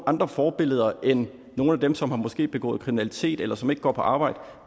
andre forbillede end nogle af dem som måske har begået kriminalitet eller som ikke går på arbejde